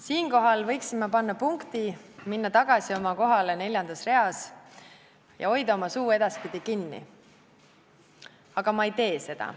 Siinkohal võiksin punkti panna, minna tagasi oma kohale neljandas reas ja hoida oma suu edaspidi kinni, aga ma ei tee seda.